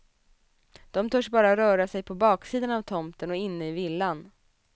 De törs bara röra sig på baksidan av tomten och inne i villan.